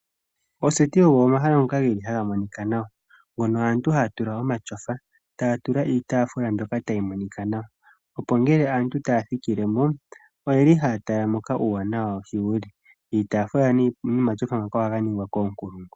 Oseti ehala hali monika nawa, ndjoka aantu haya tula omatyofa, taya tula mo iitaafula mbyoka tayi monika nawa, opo ngele aantu taya thikile mo, otaya tala nkene mokuma tamu monika nawa. Iitaafula nomatyofa ohayi ningwa koonkulungu.